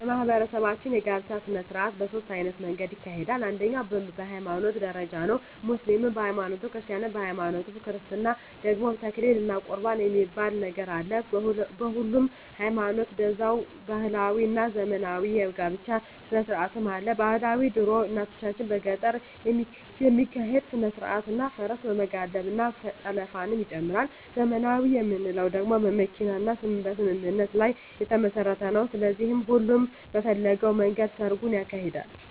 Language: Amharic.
በማህበረሰባችን የጋብቻ ሰነስርአት በ ሶስት አይነት መንገድ ይካሄዳል አንደኛዉ በ ሀይማኖት ደረጃ ነዉ ሙስሊምም በ ሀይማኖቱ ክርስቲያንም በሀይማኖቱ በክርስትና ደግሞ ተክሊል እና ቁርባን የሚባል ነገር አለ በሁሉም ሀይማኖት ደዛዉ ባህላዊ እና ዘመናዊ የ ጋብቻ ስነስርአትም አለ ...ባህላዊ ድሮ እናቶቻችን በገጠር የሚካሄድ ስነስርአት እና ፈረስ በመጋለብ እና ጠለፍንም ይጨምራል .........ዘመናዊ የምንለዉ ደግሞ በመኪና እና በስምምነት ላይ የተመስረተ ነዉ ስለዚህ ሁሉም በፈለገዉ መንገድ ሰርጉን ያካሂዳል።